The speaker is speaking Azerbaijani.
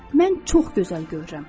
Mən çox gözəl görürəm.